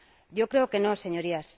Yo creo que no, Señorías.